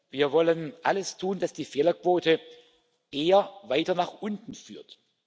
Wir wollen alles tun, dass die Fehlerquote eher weiter nach unten führt.